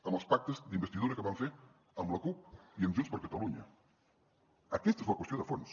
amb els pactes d’investidura que van fer amb la cup i amb junts per catalunya aquesta és la qüestió de fons